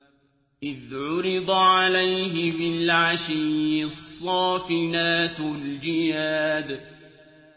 إِذْ عُرِضَ عَلَيْهِ بِالْعَشِيِّ الصَّافِنَاتُ الْجِيَادُ